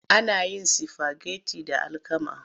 Ana yin sifageti da alkama.